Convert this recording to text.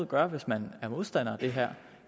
gør hvis man er modstander af det her